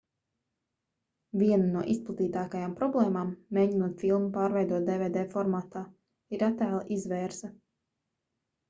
viena no izplatītākajām problēmām mēģinot filmu pārveidot dvd formātā ir attēla izvērse